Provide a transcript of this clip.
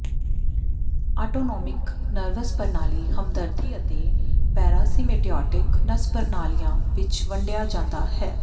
autonomic nervous ਪ੍ਰਣਾਲੀ ਹਮਦਰਦੀ ਅਤੇ ਪੈਰਾਸੀਮੈਪੇਟਿਉਟਿਕ ਨਸ ਪ੍ਰਣਾਲੀਆਂ ਵਿਚ ਵੰਡਿਆ ਜਾਂਦਾ ਹੈ